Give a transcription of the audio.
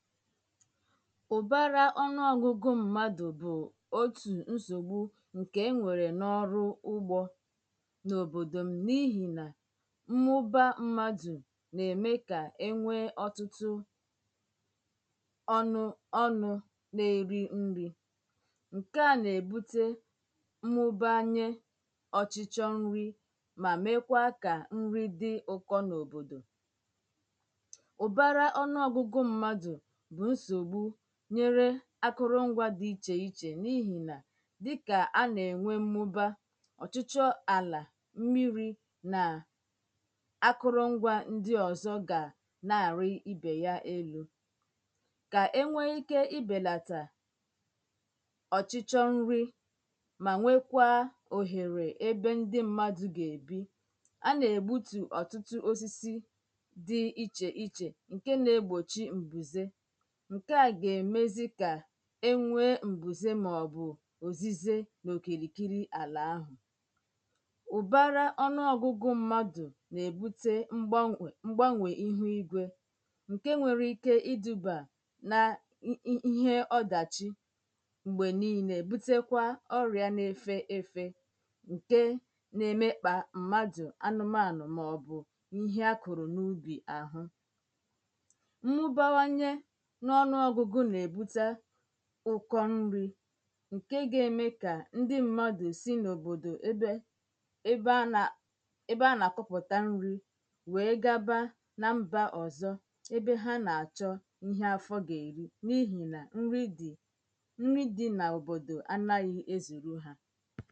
ụ̀bárá ọ́nụ́ọ́gụ̄gụ̄ ḿmādụ̀ bụ̀ ótù ńsògbú ǹkè é nwèrè n’ọ́rụ́ úgbō n’òbòdò n’íhì nà ḿmụ́bá ḿmádù nà-èmé̩ kà é nwéé ọ́tụ́tụ́ ọ́nụ́ ọ́nụ̄ ṅ̀ké à nà-èbúté ḿmụ́bányé ọ́chị́chọ́ ńrí mà mékwáá kà ńrí dị́ ụ̄kọ̄ n’òbòdò ụ̀bárá ọ́nụ́ ọ́gụ́gụ̄ ḿmádụ̀ bụ̀ ńsògbú nyéré ákụ́rụ́ṅgwā dị́ íchè ichè n’íhì nà dị́kà á nà-ènwé ḿmụ́bá ọ̀chị́chọ́ àlà, ḿmírī nà ákụrụṅ́gwā ńdị́ ọ̀zọ́ gà ná-àrị́ íbè yá élū kà é nwéé íké íbèlàtà ọ̀chị́chọ́ ńrí mà nwékwáá òhèrè ébé ńdị́ ḿmádụ̀ gà-èbí á nà-ègbútù ọ̀tụ́tụ́ ósísí dị́ íchè íchè ṅ̀ké nā-égbòchí m̀bùzé ṅ̀ké à gà-èmézí kà é nwéé m̀bùzé màọ̀bụ̀ òzízé n’òkìrìkírí àlà áhụ̀ ụ̀bárá ọ́nụ́ọ̄gụ̄gụ̄ ḿmádụ̀ nà-ébùté ḿgbánwè ḿgbánwè íhú ígwē ṅ̀ké nwéré íké ídūbà nà ṅ́ íhé ọdàchị́ m̀gbè níílē bútékwá ọ́rịà nā-éfé ēfē ṅ̀ké ná-émékpà ḿmádụ̀, ánụ́māànụ̀ màọ̀bụ̀ íhé á kụrụ n’úbì àhụ́ ḿmụ́báwányé ọ́nụ́ọ́gụ̄gụ̄ nà-èbúté Ụ́kọ́ ńrī ṅ̀ké gà-émé kà ńdị ḿmádụ̀ sí n’òbòdò ébé ébé á nā ébé á nà àkụ́pụ̀tá ńrī wèé gábá ná ḿbā ọ̀zọ́ ébé há nà-àchọ́ íhé áfọ́ gà-èrí n’íhì nà ńrí dị̀ ńrí dị̄ n’òbòdò ánāghị̄ ézùrú hā